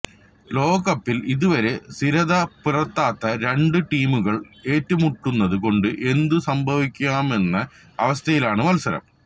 ലോകകപ്പില് ഇതുവരെ സ്ഥിരത പുലര്ത്താത്ത രണ്ട് ടീമുകള് ഏറ്റുമുട്ടുന്നത് കൊണ്ട് എന്തും സംഭവിക്കാമെന്ന അവസ്ഥയിലാണ് മത്സരം